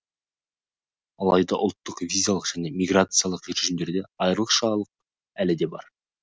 алайда ұлттық визалық және миграциялық режимдерде айырмашылық әлі де бар